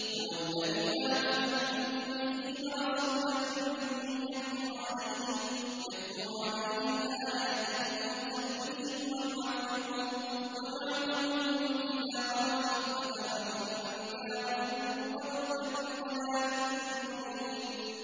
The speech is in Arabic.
هُوَ الَّذِي بَعَثَ فِي الْأُمِّيِّينَ رَسُولًا مِّنْهُمْ يَتْلُو عَلَيْهِمْ آيَاتِهِ وَيُزَكِّيهِمْ وَيُعَلِّمُهُمُ الْكِتَابَ وَالْحِكْمَةَ وَإِن كَانُوا مِن قَبْلُ لَفِي ضَلَالٍ مُّبِينٍ